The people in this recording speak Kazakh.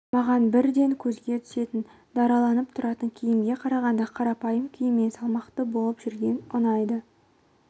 маған бірден көзге түсетін дараландырып тұратын киімге қарағанда қарапайым киіммен салмақты болып жүрген ұнайды